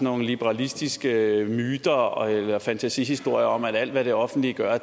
nogle liberalistiske myter og fantasihistorier om at alt hvad det offentlige gør